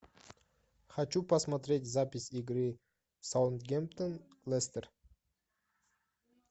хочу посмотреть запись игры саутгемптон лестер